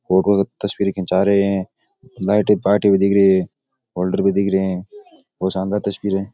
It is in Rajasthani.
और तस्वीर खींचा रहे है लाइट में पार्टी भी दिख री है होल्डर भी दिख रे है बोहोत शानदार तस्वीरें है।